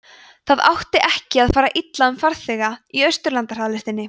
það átti ekki að fara illa um farþega í austurlandahraðlestinni